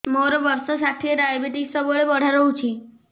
ମୋର ବର୍ଷ ଷାଠିଏ ଡାଏବେଟିସ ସବୁବେଳ ବଢ଼ା ରହୁଛି